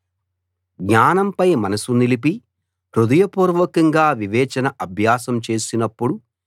జ్ఞానంపై మనసు నిలిపి హృదయపూర్వకంగా వివేచన అభ్యాసం చేసినప్పుడు